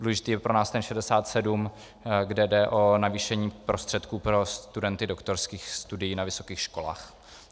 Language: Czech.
Důležitý je pro nás ten 67, kde jde o navýšení prostředků pro studenty doktorských studií na vysokých školách.